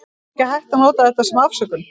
En það er ekki hægt að nota þetta sem afsökun.